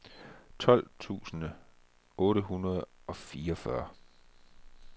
tolv tusind otte hundrede og fireogfyrre